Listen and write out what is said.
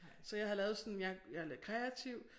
Så jeg havde lavet sådan jeg jeg er lidt kreativ